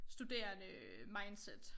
Studerende mindset